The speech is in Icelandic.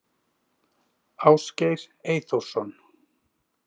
Ásgeir Eyþórsson